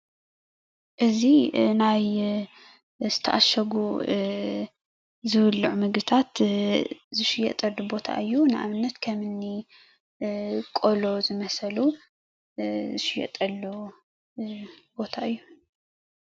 እዚ ናይ ዝተዓሸጉ ዝብሎዖ ምግብታት ዝሽየጠሉ ቦታ እዩ ንአብነት ከምኒ ቆሎ ዝመሰሉ ዝሽየጠሉ ቦታ እዩ።